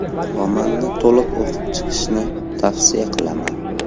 Romanni to‘liq o‘qib chiqishni tavsiya qilaman.